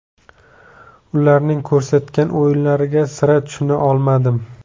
Ularning ko‘rsatgan o‘yinlariga sira tushuna olmadim.